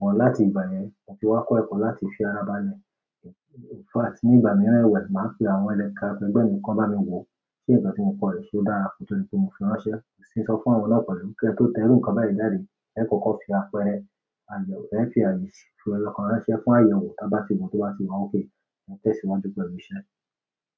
Wọ́n láti ìgbà yẹn fi wá kọ́ ẹ̀kọ́ láti fi ara ba lẹ́. In fact ní ìgbà mìíràn ẹ̀wẹ̀, màá pè àwọn ẹlẹ́kàà ẹgbẹ́ mi kan bá mi wò, ṣé nkán tí mo kọ̀ yí ṣé ó dára kò tó di pé mo fi ránṣẹ́. Mo sì ń sọ fún àwọn na pẹ̀lú ki ẹ tó tẹ iru ǹkan báyìí jáde, ẹ kọ́kọ́ fi àpẹẹrẹ àyẹ̀wò, ẹ fi àyè sì í fi lọ kó ránṣẹ́ fún àyẹ̀wò tá bá tì wo tó bá tì wà okay ẹ tẹ̀ síwájú pẹ̀lú iṣẹ́.